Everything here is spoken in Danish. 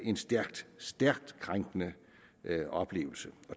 en stærkt stærkt krænkende oplevelse